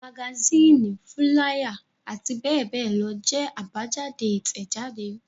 Magasínì, fúláyà àti bẹ́ẹ̀ bẹ́ẹ̀ lọ jẹ́ àbájáde Ìtẹ̀jáde.